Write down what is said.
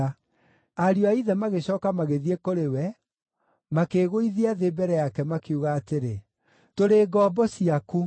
Ariũ a ithe magĩcooka magĩthiĩ kũrĩ we, makĩĩgũithia thĩ mbere yake, makiuga atĩrĩ, “Tũrĩ ngombo ciaku.”